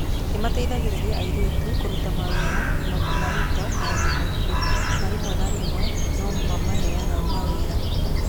Nĩ mateithagĩrĩria airĩtu kũruta mawĩra na kũmaruta maũndũ maingĩ, na rĩmwe na rĩmwe no maheane mawĩra.